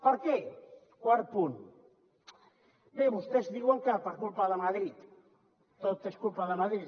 per què quart punt bé vostès diuen que per culpa de madrid tot és culpa de madrid